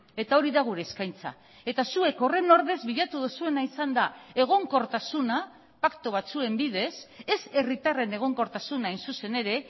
eta hori da gure eskaintza eta zuek horren ordez bilatu duzuena izan da egonkortasuna paktu batzuen bidez ez herritarren egonkortasuna hain zuzen ere